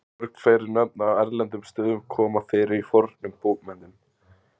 mörg fleiri nöfn á erlendum stöðum koma fyrir í fornum bókmenntum